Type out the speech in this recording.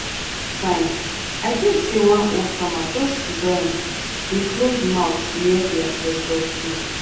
time i dream say one old farmer just sit down dey close mouth near di ancestor stone.